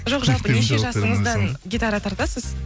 жоқ неше жасыңыздан гитара тартасыз